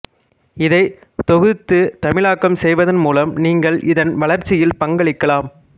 இதைத் தொகுத்துதமிழாக்கம் செய்வதன் மூலம் நீங்கள் இதன் வளர்ச்சியில் பங்களிக்கலாம்